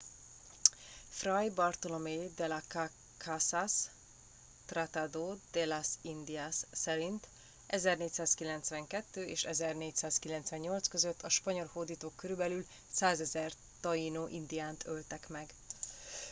fray bartolomé de las casas tratado de las indias szerint 1492 és 1498 között a spanyol hódítók körülbelül 100.000 taínó indiánt öltek meg